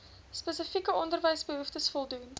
spesifieke onderwysbehoeftes voldoen